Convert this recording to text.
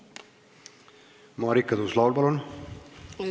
Marika Tuus-Laul, palun!